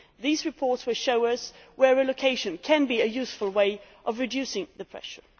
These reports will show us where relocation can be a useful way of reducing the pressure.